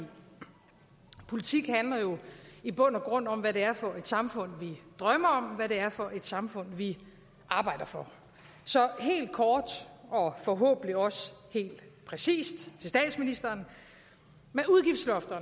politik handler jo i bund og grund om hvad det er for et samfund vi drømmer om hvad det er for et samfund vi arbejder for så helt kort og forhåbentlig også helt præcist til statsministeren